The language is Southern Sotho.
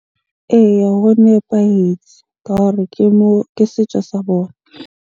Eya, ho nepahetse ka hore ke moo, ke setjo sa bona.